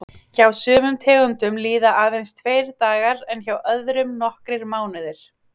Hjá sumum tegundum líða aðeins tveir dagar en hjá öðrum nokkrir mánuðir.